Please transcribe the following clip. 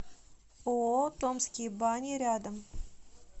ооо томские бани рядом